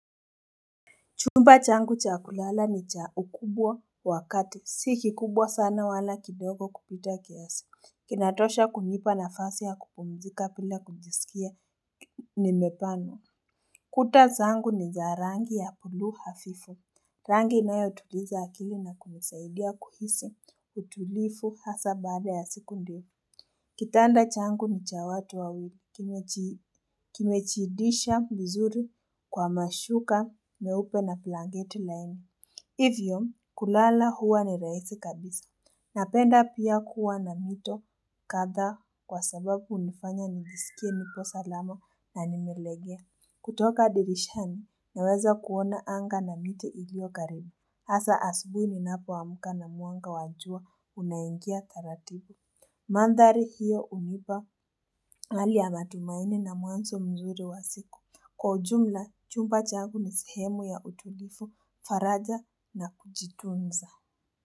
Chumba changu cha kulala ni cha ukubwa wa kati, si kikubwa sana wala kidogo kupita kiasi, kinatosha kunipa nafasi ya kupumzika bila kujisikia nimebanwa. Kuta zangu ni za rangi ya bluu hafifu, rangi inayotuliza akili na kunisaidia kuhisi utulivu hasa baada ya siku ndefu. Kitanda changu ni cha watu wawili, kimejidisha vizuri kwa mashuka meupe na blanketi laini. Hivyo, kulala huwa ni rahisi kabisa. Napenda pia kuwa na mito kadhaa, kwa sababu hunifanya nigisikie nipo salama na nimelegea. Kutoka dirishani naweza kuona anga na miti iliyo karibu. Hasa asubuhi ninapoamka na mwanga wa jua unaingia taratibu. Mandhari hiyo humipa hali ya matumaini na mwanzo mzuri wa siku. Kwa jumla chumba changu ni sehemu ya utulivu, faraja na kujitunza.